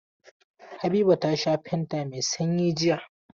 Habiba ta sha fanta mai sanyi jiya.